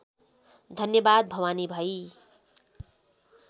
धन्यवाद भवानी भाइ